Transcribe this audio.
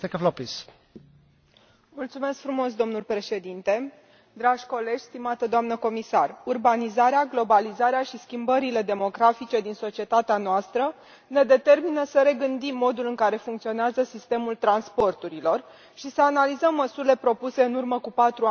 Domnule președinte, urbanizarea, globalizarea și schimbările demografice din societatea noastră ne determină să regândim modul în care funcționează sistemul transporturilor și să analizăm măsurile propuse în urmă cu patru ani în Cartea albă privind transporturile.